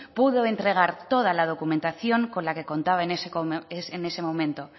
pudo entregar toda la documentación con la que contaba en ese momento